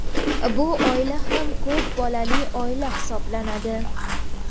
bu oila ham ko‘p bolali oila hisoblanadi.